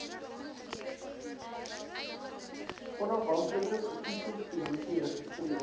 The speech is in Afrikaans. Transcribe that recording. onafhanklike verkiesingskommissie registreer